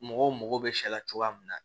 Mɔgɔw mago bɛ sɛ la cogoya min na